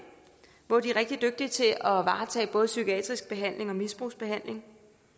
hvor de er rigtig dygtige til at varetage både psykiatrisk behandling og misbrugsbehandling